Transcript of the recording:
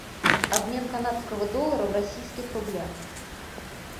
обмен канадского доллара в российских рублях